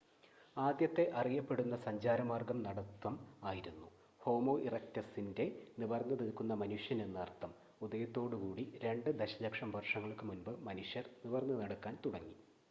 ആദ്യത്തെ അറിയപ്പെടുന്ന സഞ്ചാരമാർഗ്ഗം നടത്തം ആയിരുന്നു ഹോമോ ഇറെക്റ്റസിന്റെ നിവർന്ന് നിൽക്കുന്ന മനുഷ്യൻ എന്ന് അർത്ഥം ഉദയത്തോട് കൂടി രണ്ട് ദശലക്ഷം വർഷങ്ങൾക്ക് മുൻപ് മനുഷ്യർ നിവർന്ന് നടക്കാൻ തുടങ്ങി